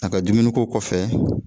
A ka dumuniko kɔfɛ